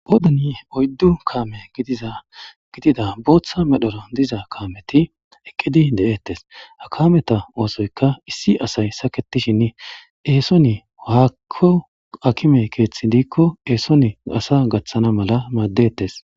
oodani oyddu kaame gidiza gidida booththa medhoro diza kaameti eqqidi de7ettes ha kameta oosoyka issi asay saketishin eesoni waakko akime keeththi diikko eeson asa gaththana mala maaddettes